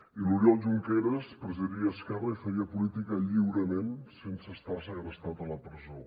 i l’oriol junqueras presidiria esquerra i faria política lliurement sense estar segrestat a la presó